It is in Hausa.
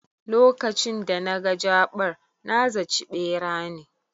Lokacin da naga jaɓar, na zaci ɓera ne